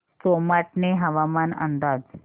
सोमाटणे हवामान अंदाज